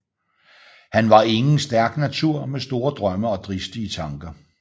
Han var ingen stærk natur med store drømme og dristige tnker